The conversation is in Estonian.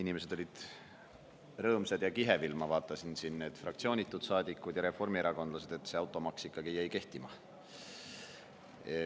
Inimesed on rõõmsad ja kihevil, ma vaatasin, need fraktsioonitud saadikud ja reformierakondlased, sest automaks jäi ikkagi kehtima.